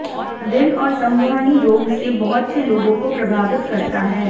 दिल और संवहनी रोग से बहुत से लोगों को प्रभावित करता है